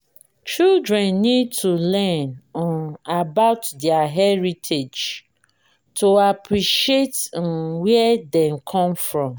children need to learn um about their heritage to appreciate um where dem come from.